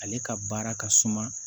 Ale ka baara ka suma